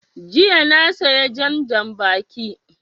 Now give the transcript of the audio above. Jiya na saya jan janbaki